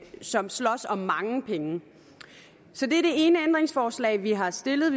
som slås om mange penge så det er det ene ændringsforslag vi har stillet